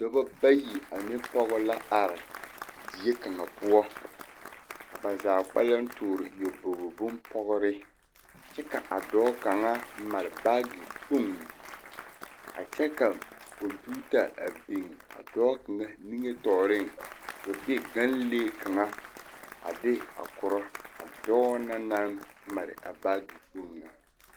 Dɔba bayi ane pɔge la are die kaŋa poɔ ka ba zaa kpɛlɛŋ toore nyɔbogi bompɔgre kyɛ ka a dɔɔ kaŋa mare baagekpoŋ a kyɛ ka kɔmpeta a biŋ dɔɔ kaŋ nimitɔɔreŋ k,o dr ganlee kaŋa a de a korɔ a dɔɔ na naŋ mare a baagekpoŋ na.